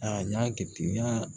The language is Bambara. A y'a kɛ ten n y'a